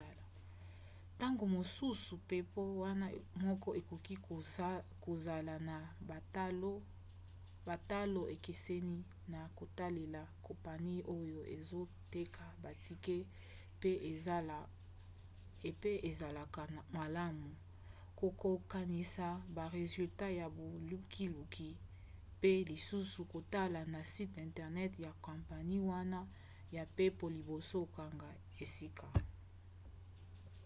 ntango mosusu mpepo wana moko ekoki kozala na batalo ekeseni na kotalela kompani oyo ezoteka batike pe ezalaka malamu kokokanisa ba resultat ya bolukiluki mpe lisusu kotala na site intenert ya kompani wana ya mpepo liboso okanga esika